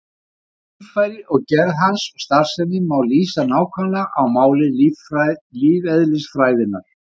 Heilinn er líffæri og gerð hans og starfsemi má lýsa nákvæmlega á máli lífeðlisfræðinnar.